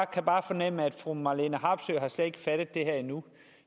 kan bare fornemme at fru marlene harpsøe slet ikke har fattet det her endnu